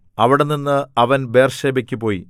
അവിടെനിന്ന് അവൻ ബേർശേബയ്ക്കു പോയി